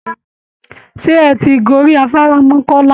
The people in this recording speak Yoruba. Ṣé ẹ̀ ti gorí afárá Mọ́kọ́lá?